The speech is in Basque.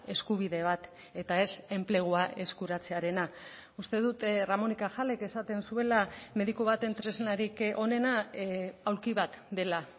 eskubide bat eta ez enplegua eskuratzearena uste dut ramón y cajalek esaten zuela mediku baten tresnarik onena aulki bat dela